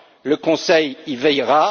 le Conseil y veillera.